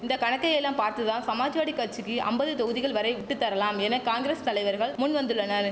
இந்த கணக்கையெல்லாம் பார்த்துதான் சமாஜ்வாடி கட்சிக்கி அம்பது தொகுதிகள் வரை விட்டுத்தரலாம் என காங்கிரஸ் தலைவர்கள் முன் வந்துள்ளனர்